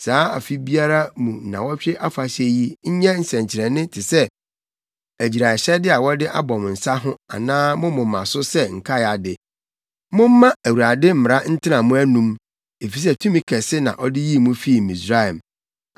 Saa afe biara mu nnaawɔtwe afahyɛ yi nyɛ nsɛnkyerɛnne te sɛ agyiraehyɛde a wɔde abɔ mo nsa ho anaa mo moma so sɛ nkae ade. Momma Awurade mmara ntena mo anom, efisɛ tumi kɛse na ɔde yii mo fii Misraim.